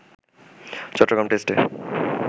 চট্টগ্রাম টেস্টে